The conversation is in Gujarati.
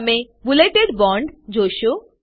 તમે બુલેટેડ બોન્ડ જોશો